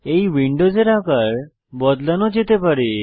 এই উইন্ডোজের আকার বদলানো যেতে পারে